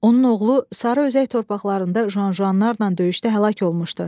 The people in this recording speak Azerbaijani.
Onun oğlu sarı özək torpaqlarında Janjanlarla döyüşdə həlak olmuşdu.